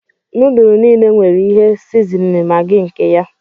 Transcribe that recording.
Núdulú niile nwere ihe sizinin Maggi nke ya